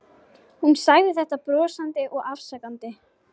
Hún sagði þetta brosandi og afsakandi.